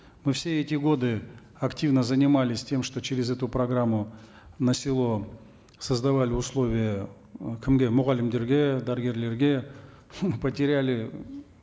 мы все эти годы активно занимались тем что через эту программу на село создавали условия э кімге мұғалімдерге дәрігерлерге потеряли